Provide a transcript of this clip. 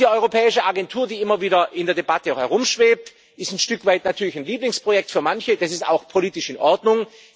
Diese europäische Agentur, die immer wieder in der Debatte herumschwebt, ist ein Stück weit natürlich ein Lieblingsprojekt für manche, das ist auch politisch in Ordnung.